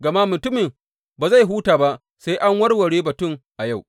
Gama mutumin ba zai huta ba sai an warware batun a yau.